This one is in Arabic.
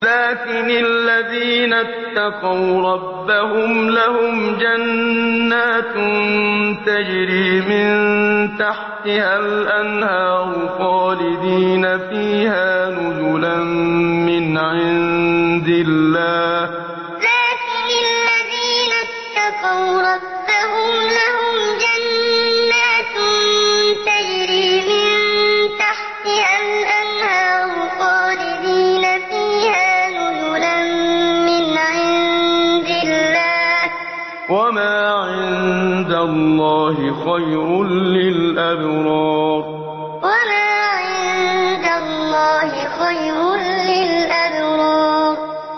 لَٰكِنِ الَّذِينَ اتَّقَوْا رَبَّهُمْ لَهُمْ جَنَّاتٌ تَجْرِي مِن تَحْتِهَا الْأَنْهَارُ خَالِدِينَ فِيهَا نُزُلًا مِّنْ عِندِ اللَّهِ ۗ وَمَا عِندَ اللَّهِ خَيْرٌ لِّلْأَبْرَارِ لَٰكِنِ الَّذِينَ اتَّقَوْا رَبَّهُمْ لَهُمْ جَنَّاتٌ تَجْرِي مِن تَحْتِهَا الْأَنْهَارُ خَالِدِينَ فِيهَا نُزُلًا مِّنْ عِندِ اللَّهِ ۗ وَمَا عِندَ اللَّهِ خَيْرٌ لِّلْأَبْرَارِ